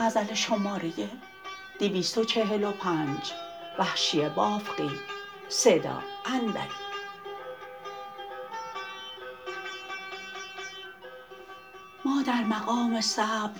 ما در مقام صبر